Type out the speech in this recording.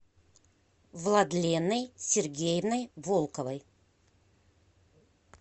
владленой сергеевной волковой